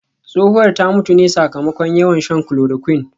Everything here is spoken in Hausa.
Tsohuwar ta mutu ne sakamakon yawan shan chloroquine